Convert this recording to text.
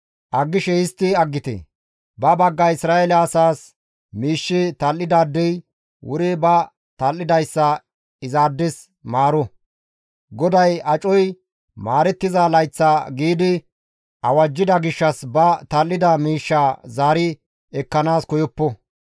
Aggishe histti aggite; ba bagga Isra7eele asaas miishshe tal7idaadey wuri ba tal7idayssa izaades maaro; GODAY acoy maarettiza layththa giidi awajjida gishshas ba tal7ida miishshaa zaari ekkanaas koyoppo.